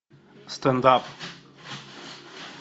стендап